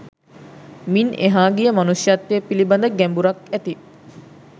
මින් එහා ගිය මනුෂ්‍යත්වය පිළිබඳ ගැඹුරක් ඇති